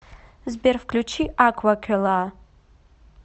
сбер включи аквакилла